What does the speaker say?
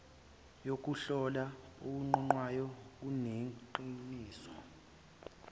yokuhlola okuqoqayo kunikeza